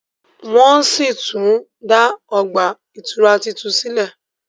wón sí tún dá ọgbà ìtura títún sílè